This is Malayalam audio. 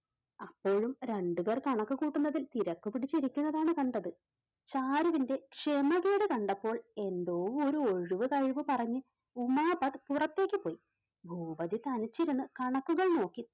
അപ്പോഴും രണ്ടുപേർ കണക്ക് കൂട്ടുന്നതിൽ തിരക്കുപിടിച്ചിരിക്കുന്നതാണ് കണ്ടത്. ചാരുവിന്റെ ക്ഷമകേട് കണ്ടപ്പോൾ എന്തോ ഒരു ഒഴിവു കഴിവ് പറഞ്ഞ് ഉമാപത് പുറത്തേക്ക് പോയി, ഭൂപതി തനിച്ചിരുന്ന് കണക്കുകൾ നോക്കി.